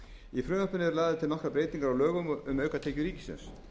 í frumvarpinu eru lagðar til nokkrar breytingar á lögum um aukatekjur ríkissjóðs